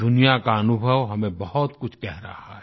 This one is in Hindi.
दुनिया का अनुभव हमें बहुत कुछ कह रहा है